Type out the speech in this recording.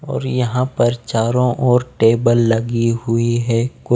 और यहाँ पर चारों ओर टेबल लगी हुई हैं को--